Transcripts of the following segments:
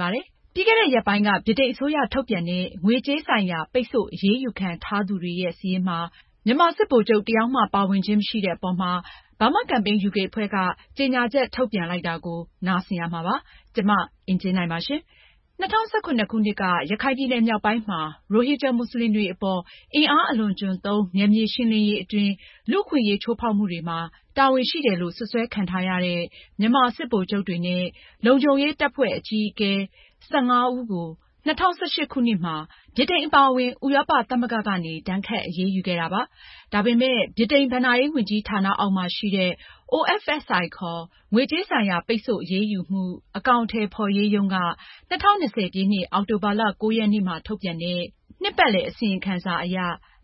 ပါတယ်။ ပြီးခဲ့တဲ့ ရက်ပိုင်းက ဗြိတိန်အစိုးရ ထုတ်ပြန်တဲ့ ငွေကြေးဆိုင်ရာ ပိတ်ဆို့အရေးယူခံထားရသူတွေရဲ့ စာရင်းမှာ မြန်မာစစ်ဗိုလ်ချုပ် တယောက်မှ ဖေါ်ပြထားခြင်းမရှိတဲ့အပေါ် Burma Campaign UK က ကြေညာချက်ထုန်ပြန်ခဲ့တာပါ။ မအင်ကြင်းနိုင်က အပြည့်အစုံကိုပြောပြမှာပါ။ ၂၀၁၇ခုနှစ်က ရခိုင်ပြည်နယ်မြောက်ပိုင်းမှာ မွတ်စလင်တွေအပေါ် အင်အားအလွန်အကျွံသုံး နယ်မြေရှင်းလင်းရေးအတွင်း လူ့အခွင့်အရေးချိုးဖောက်မှုတွေမှာ တာဝန်ရှိတယ်လို့ စွပ်စွဲခံထားရတဲ့ မြန်မာစစ်ဗိုလ်ချုပ်တွေနဲ့ လုံခြုံရေးတပ်ဖွဲ့ အကြီးအကဲ (၁၆) ဦးကို ၂၀၁၈ခုနှစ်မှာ ဗြိတိန်အပါအဝင်ဥရောပသမဂ္ဂကနေ ဒဏ်ခတ်အရေးယူခဲ့တာပါ။ ဒါပေမဲ့ ဗြိတိန် ဘဏ္ဍာရေး ဝန်ကြီးဌာနအောက်မှာရှိနေတဲ့ (OFSI) ခေါ် ငွေကြေးဆိုင်ရာပိတ်ဆို့အရေးယူမှု အကောင်အထည်ဖေါ်ရေးရုံးက ၂၀၂၀ပြည့်နှစ် အောက်တိုဘာလ (၉ )ရက်နေ့မှာ ထုတ်ပြန်တဲ့ ၂၁၀၉ -၂၀၂၀ အစီရင်ခံစာအရ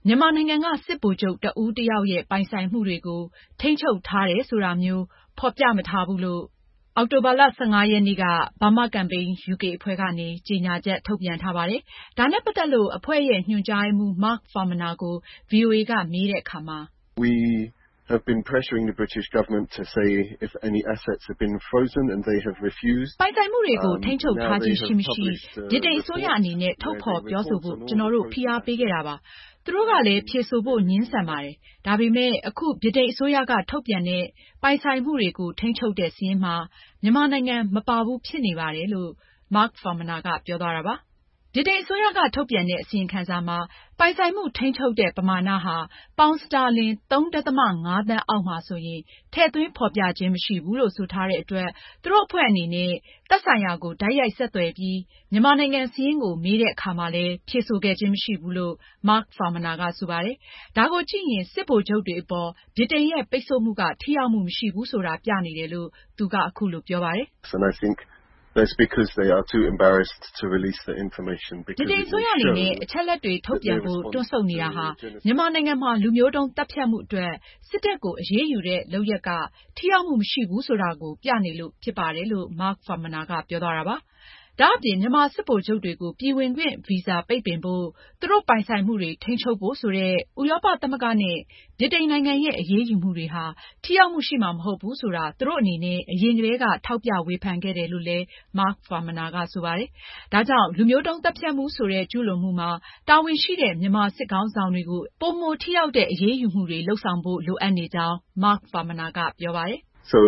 မြန်မာနိုင်ငံက စစ်ဗိုလ်ချုပ် တဦးတယောက်ရဲ့ပိုင်ဆိုင်မှုတွေကို ထိန်းချုပ်ထားတယ်ဆိုတာမျိုး ဖေါ်ပြမထားဘူးလို့ Burma Campaign UK ကနေအောက်တိုဘာလ ၁၅ ရက်နေ့က ကြညာချက် ထုတ်ပြန်ထားပါတယ်။ ဒါနဲ့ပတ်သက်လို့ အဖွဲ့ရဲ့ညွန်ကြားရေးမှူး Mark Farmaner က ဗွီအိုအေကို အခုလိုပြောပြပါတယ်။ ”ပိုင်ဆိုင်မှုတွေကို ထိန်းချုပ်ထားခြင်းရှိမရှိ ဗြိတိန် အစိုးရအနေနဲ့ ထုတ်ဖေါ်ပြောဆိုဖို့ ကျနော်တို့ ဖိအားပေးခဲ့တာပါ။ သူတို့ကလည်း ဖြေဆိုဖို့ ငြင်းဆန်ခဲ့ပါတယ်။ ဒါပေမဲ့ အခု ဗြိတိန်အစိုးရက ထုတ်ပြန်တဲ့ ပိုင်ဆိုင်မှုတွေကို ထိန်းချုပ်တဲ့ စာရင်းမှာ မြန်မာနိုင်ငံက မပါဘူးဖြစ်နေပါတယ်။” ဗြိတိန်အစိုးရက ထုတ်ပြန်တဲ့ အစီရင်ခံစာမှာ ပိုင်ဆိုင်မှုထိန်းချုပ်တဲ့ ပမာဏဟာ ပေါင်စတာလင် ၃.၅သန်းအောက် မှာဆိုရင် ထည့်သွင်းဖေါ်ပြခြင်းမရှိဘူးလို့ ဆိုထားတဲ့အတွက် သူတို့အဖွဲ့ကနေ သက်ဆိုင်ရာကို တိုက်ရိုက်ဆက်သွယ်ပြီး မြန်မာနိုင်ငံ စာရင်းကို မေးမြန်းတဲ့အခါမှာလည်း ဖြေဆိုခဲ့ခြင်းမရှိဘူးလို့ Mark Farmaner က ဆိုပါတယ်။ ဒါကိုကြည့်ရင် စစ်ဗိုလ်ချုပ်တွေအပေါ် ဗြိတိန်ရဲ့ ပိတ်ဆို့မှုက ထိရောက်မှုမရှိဘူးဆိုတာ ပြနေတယ်လို့ သူက အခုလိုပြောပါတယ်။ ”ဗြိတိန်အစိုးရအနေနဲ့ အချက်အလက်တွေထုတ်ပြန်ဖို့ တွန့်ဆုတ်နေတာဟာ မြန်မာနိုင်ငံမှာ လူမျိုးတုန်းသတ်ဖြတ်မှုအတွက် စစ်တပ်ကို အရေးယူတဲ့ လုပ်ရပ်က ထိရောက်မှု မရှိဘူးဆိုတာပြနေလို့ ဖြစ်ပါတယ်။” ဒါအပြင် မြန်မာစစ်ဗိုလ်ချုပ်တွေကို ပြည်ဝင်ခွင့်ဗီဇာပိတ်ပင်ဖို့၊ သူတို့ပိုင်ဆိုင်မှုတွေ ထိန်းချုပ်ဖို့ ဆိုတဲ့ ဥရောပသမဂ္ဂနဲ့ ဗြိတိန်နိုင်ငံရဲ့ အရေးယူမှုတွေဟာ ထိရောက်မှုရှိမှာ မဟုတ်ဘူးဆိုတာ သူတို့အနေနဲ့ အရင်ကတည်းက ထောက်ပြဝေဖန်ခဲ့တယ်လို့ Mark Farmaner က ဆိုပါတယ်။ ဒါကြောင့် လူမျိုးတုန်းသတ်ဖြတ်မှုဆိုတဲ့ ကျူးလွန်မှုမှာ တာဝန်ရှိတဲ့ မြန်မာစစ်ခေါင်းဆောင်တွေကို ထိရောက်ပြီး ပိုမိုပြင်းထန်တဲ့ အရေးယူမှုတွေလုပ်ဖို့ လိုအပ်နေကြောင်း Mark Farmaner က အခုလိုပြောပါတယ်။ ” ဒါ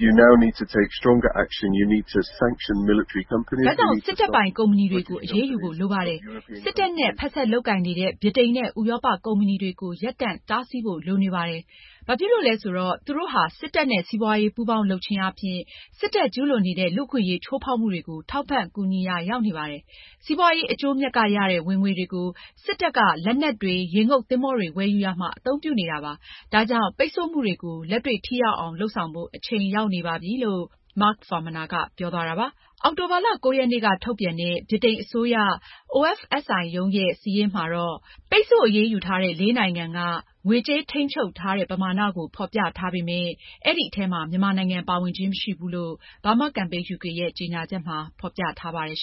ကြောင့် စစ်တပ်ပိုင် ကုမ္ပဏီတွေကို အရေးယူဖို့လိုပါတယ်။ စစ်တပ်နဲ့ ဖက်စပ်လုပ်ကိုင်နေတဲ့ဗြိတိန်နဲ့ ဥရောပ ကုမ္ပဏီတွေကို ရပ်တန့် တားဆီးဖို့ လိုပါတယ်။ ဘာဖြစ်လို့လဲဆိုတော့ သူတို့ဟာစစ်တပ်နဲ့စီးပွားရေး ပူးပေါင်းလုပ်ခြင်းအားဖြင့် စစ်တပ် ကျူးလွန်နေတဲ့ လူ့အခွင့်အရေးချိုးဖောက်မှုတွေကို ထောက်ပံ့ကူညီရာရောက်နေပါတယ်။ စီးပွားရေးအကျိုးအမြတ်ကရတဲ့ ဝင်ငွေတွေကို စစ်တပ်က လက်နက်တွေ၊ ရေငုပ်သင်္ဘောတွေ ဝယ်ယူရာမှာ အသုံးပြုနေတာပါ။ ဒါကြောင့်ပိတ်ဆို့မှုတွေကို လက်တွေ့ထိရောက်အောင် လုပ်ဆောင်ဖို့ အချိန်ရောက်နေပါပြီ။ ပြရုပ်သက်သက်လုပ်နေလို့ မရတော့ပါဘူး။” အောက်တိုဘာလ (၉ )ရက်နေ့က ထုတ်ပြန်တဲ့ ဗြိတိန်အစိုးရ OFSI ရုံးရဲ့ စာရင်းမှာ ပိတ်ဆို့အရေးယူထားတဲ့ လေးနိုင်ငံက ငွေကြေးထိန်းချုပ်ထားတဲ့ ပမာဏကို ဖေါ်ပြထားပေမဲ့ အဲဒီထဲမှာ မြန်မာပါဝင်ခြင်းမရှိဘူးလို့ Burma Campaign UK ရဲ့ ကြေညာချက်မှာ ဖေါ်ပြထားပါတယ်။